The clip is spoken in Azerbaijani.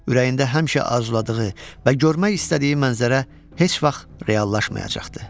Ürəyində həmişə arzuladığı və görmək istədiyi mənzərə heç vaxt reallaşmayacaqdı.